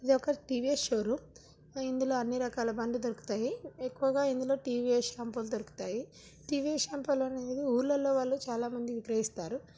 ఇది ఒక టీ.వీ.ఎస్ షోరూం ఇందులొ అన్ని రకాల బండ్లు దొరుకుతాయి ఎక్కువగా ఇందులో టీ.వీ.ఎస్ షాంపూల్ లో దొరుకుతాయి టీ.వీ.ఎస్ షాంపూల్ అనేది ఊర్లలో వాళ్ళందరూ చాలామంది విక్రయిస్తారు.